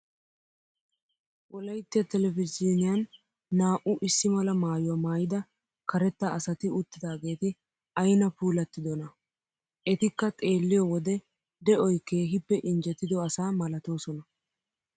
Wolayitya telbejiiniyaan naa"u issi mala maayyuwa maayyida karetta asati uttidaageeti ayina puulattidonaa! Etikka xeelliyo wode de"oyi keehippe injjetido asaa malatoosona.